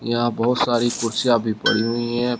यहां बहोत सारी कुर्सियां भी पढ़ी हुईं है।